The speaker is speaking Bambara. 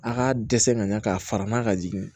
A ka dɛsɛ ka ɲa k'a fara n'a ka jigin